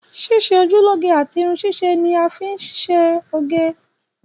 Ṣíṣe ojú lóge àti Irun ṣíṣe níí a fi ń ńṣe oge.